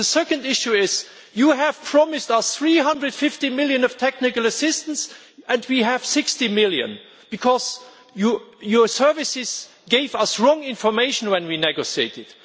The second issue is that you have promised us EUR 350 million of technical assistance, and we have EUR 60 million because your services gave us the wrong information when we negotiated.